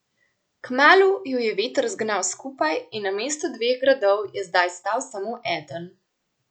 Kmalu ju je veter zgnal skupaj in na mestu dveh gradov je zdaj stal samo eden.